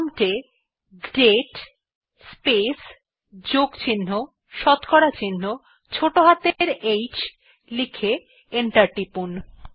prompt এ দাতে প্লেস প্লাস শতকরা চিহ্ন ছোটো হাতের অক্ষরে h লিখে এন্টার টিপুন